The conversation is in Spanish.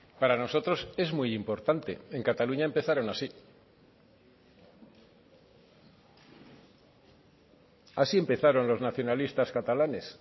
para nosotros es muy importante en cataluña empezaron así así empezaron los nacionalistas catalanes